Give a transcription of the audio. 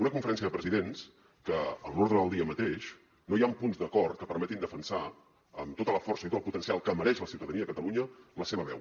una conferència de presidents que en l’ordre del dia mateix no hi han punts d’acord que permetin defensar amb tota la força i tot el potencial que mereix la ciutadania de catalunya la seva veu